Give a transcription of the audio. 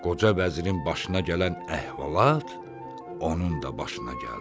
Qoca vəzirin başına gələn əhvalat onun da başına gəldi.